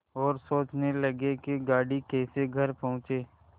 और सोचने लगे कि गाड़ी कैसे घर पहुँचे